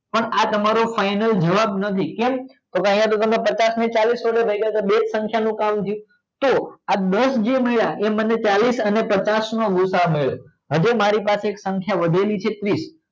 પણ આ તમારો ફાઇનલ જવાબ નથી કેમકે તમે પાંચસ ને ચાલીસ થી ભાગ્ય તો બેજ સંખ્યા થઈ તો આ દસ જે મળ્યા તો ઈ મને ચાલીસ અને પાંચસ નો ગૂસાઅ મળ્યો હવે મરી પાસે સંખ્યા વધેલી છે ત્રીસ